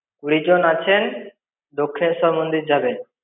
কুড়ি জন আছেন। দক্ষিণেশ্বর মন্দির যাবেন।